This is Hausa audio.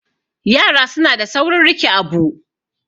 yara suna da saurin rike Abu